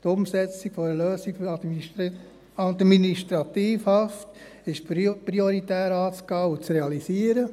«Die Umsetzung einer Lösung für die Administrativhaft ist prioritär anzugehen und zu realisieren.